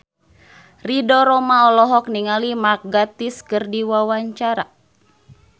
Ridho Roma olohok ningali Mark Gatiss keur diwawancara